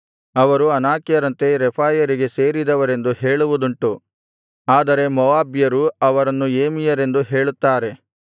ಅವರು ಅನಾಕ್ಯರಂತೆ ರೆಫಾಯರಿಗೆ ಸೇರಿದವರೆಂದು ಹೇಳುವುದುಂಟು ಆದರೆ ಮೋವಾಬ್ಯರು ಅವರನ್ನು ಏಮಿಯರೆಂದು ಹೇಳುತ್ತಾರೆ